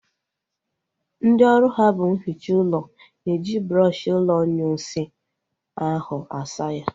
Ndị ọrụ ha bụ ihicha ụlọ na-eji brọọshi ụlọ inyunsi ahụ asa ya